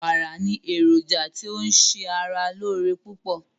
Wàrà ni èrójà tó ṣè ara lọ́ọ̀ré pupọ̀